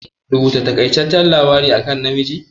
Rubuta taƙaiceccen labari akan Namiji?